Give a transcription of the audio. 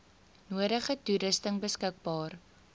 nodige toerusting beskikbaar